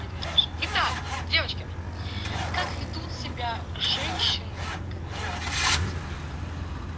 едем дальше итак девочки как ведут себя женщины которым изменяют